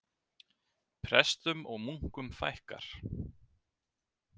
Prestum og munkum fækkar